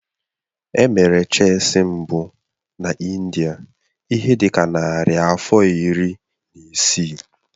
Emere Chesị mbụ na India ihe dị ka narị afọ iri na isii.